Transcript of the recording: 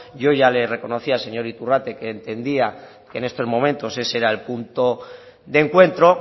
yo ya le reconocí al señor iturrate que entendía que en estos momentos ese era el punto de encuentro